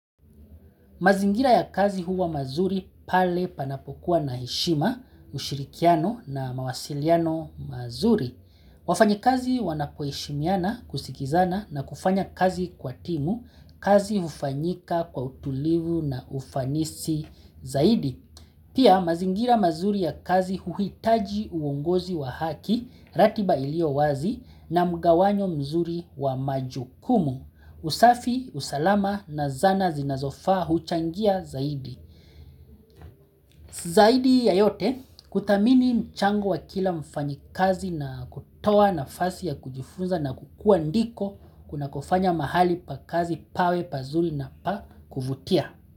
Mazingira ya kazi huwa mazuri pale panapokuwa na heshima, ushirikiano na mawasiliano mazuri. Wafanyikazi wanapoishimiana kusikizana na kufanya kazi kwa timu, kazi ufanyika kwa utulivu na ufanisi zaidi. Pia mazingira mazuri ya kazi huhitaji uongozi wa haki, ratiba ilio wazi na mgawanyo mzuri wa majukumu. Usafi, usalama na zana zinazofa huchangia zaidi. Zaidi ya yote kutamini mchango wa kila mfanyi kazi na kutoa nafasi ya kujifunza na kukua ndiko kuna kufanya mahali pa kazi pawe pazuli na pa kufutia.